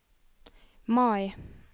Mai